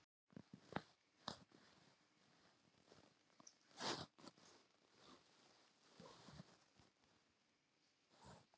Herra Jón var þegar byrjaður að stökkva vígðu vatni um gröfina.